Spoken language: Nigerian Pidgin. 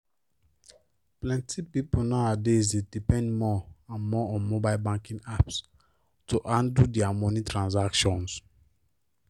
plenty people nowadays dey depend more and more on mobile banking apps to handle their moni transactions